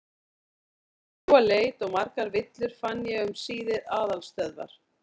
Eftir drjúga leit og margar villur fann ég um síðir aðalstöðvar